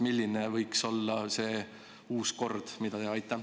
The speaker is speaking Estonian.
Milline võiks olla see uus kord?